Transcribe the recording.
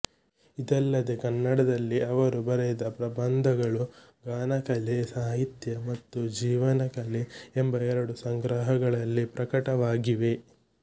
ಇದಲ್ಲದೆ ಕನ್ನಡದಲ್ಲಿ ಅವರು ಬರೆದ ಪ್ರಬಂಧಗಳು ಗಾನಕಲೆ ಸಾಹಿತ್ಯ ಮತ್ತು ಜೀವನ ಕಲೆ ಎಂಬ ಎರಡು ಸಂಗ್ರಹಗಳಲ್ಲಿ ಪ್ರಕಟವಾಗಿವೆ